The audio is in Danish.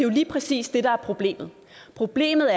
lige præcis det der er problemet problemet